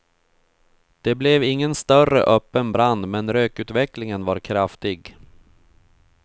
Det blev ingen större öppen brand men rökutvecklingen var kraftig.